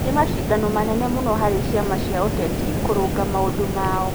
Nĩ macindano manene mũno harĩ ciama cia ũteti kũrũnga maũndũ mao.